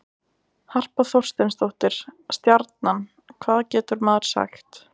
Harpa Þorsteinsdóttir- Stjarnan Hvað getur maður sagt?